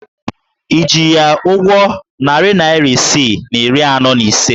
Ị ji ya ụgwọ narị naịra isii na iri anọ na ise?